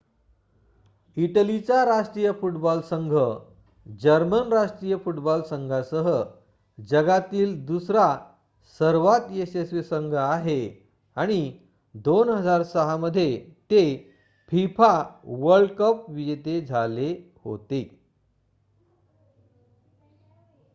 इटलीचा राष्ट्रीय फूटबॉल संघ जर्मन राष्ट्रीय फूटबॉल संघासह जगातील दुसरा सर्वांत यशस्वी संघ आहे आणि २००६ मध्ये ते fifa वर्ल्ड कप विजेते झाले होते